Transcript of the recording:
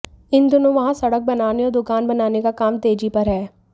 इन दिनों वहां सड़क बनाने और दुकान बनाने का काम तेजी पर है